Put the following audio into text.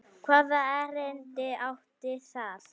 Hvaða erindi átti það?